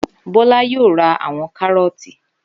Bọ́lá yóò ra àwon kárọ̀tì